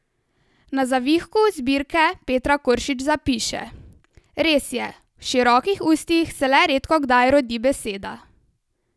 Na zavihku zbirke Petra Koršič zapiše: 'Res je, v širokih ustih se le redkokdaj rodi beseda.